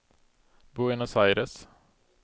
Buenos Aires